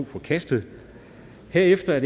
forkastet herefter er